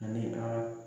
Ani a